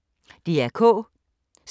DR K